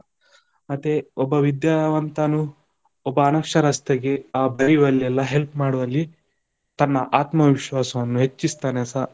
ಮತ್ತೆ ಒಬ್ಬ ವಿದ್ಯಾವಂತನು ಒಬ್ಬ ಅನಕ್ಷರಸ್ತೆಗೆ ಆ ಬರಿಯುವಲ್ಲೆಲ್ಲ help ಮಾಡುವಲ್ಲಿ, ತನ್ನ ಆತ್ಮವಿಶ್ವಾಸವನ್ನು ಹೆಚ್ಚಿಸ್ತಾನೆಸ.